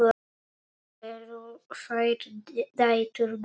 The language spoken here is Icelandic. Eru þær dætur Guðs?